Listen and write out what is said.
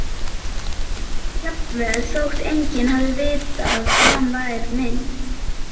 Jafnvel þótt enginn hefði vitað að hann var minn.